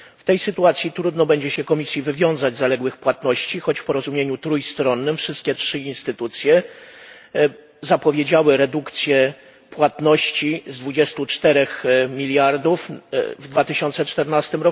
W tej sytuacji trudno będzie się Komisji wywiązać z zaległych płatności, choć w porozumieniu trójstronnym wszystkie trzy instytucje zapowiedziały redukcję płatności z 24 miliardów w 2014